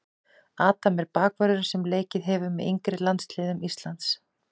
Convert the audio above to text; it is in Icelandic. Adam er bakvörður sem leikið hefur með yngri landsliðum Íslands.